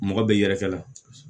Mɔgɔ bɛ yɛrɛkɛ la